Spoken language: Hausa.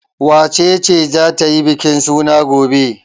Wace ce za ta yi bikin suna gobe?